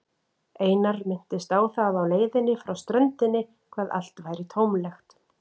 Einar minntist á það á leiðinni frá ströndinni hvað allt væri tómlegt.